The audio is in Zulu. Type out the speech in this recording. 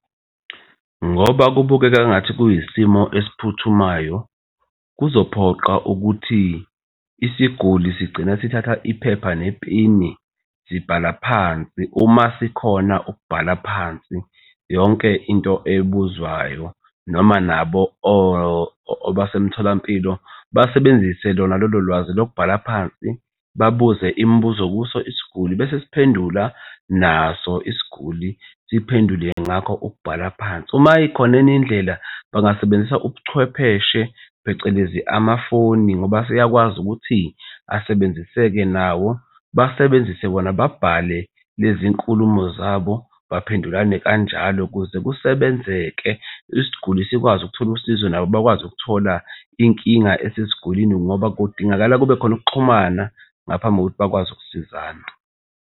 Ngoba kubukeka engathi kuyisimo esiphuthumayo, kuzophoqa ukuthi isiguli sigcina sithatha iphepha nepeni, sibhala phansi uma sikhona ukubhala phansi yonke into ebuzwayo noma nabo basemtholampilo basebenzise lona lolo lwazi lokubhala phansi, babuze imibuzo kuso isiguli, bese siphendula naso isiguli siphendule ngakho ukubhala phansi. Uma ikhona enye indlela bangasebenzisa ubuchwepheshe phecelezi amafoni ngoba aseyakwazi ukuthi asebenzise-ke nawo. Basebenzise wona babhale lezi nkulumo zabo baphendulane kanjalo ukuze kusebenzeke. Isiguli sikwazi ukuthola usizo nabo bakwazi ukuthola inkinga esesigulini ngoba kudingakala kube khona ukuxhumana ngaphambi kokuthi bakwazi ukusizana.